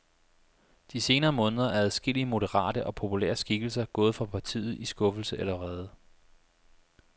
De senere måneder er adskillige moderate og populære skikkelser gået fra partiet i skuffelse eller vrede.